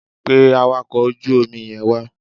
Pe awakọ̀ ojú omi yẹn wá.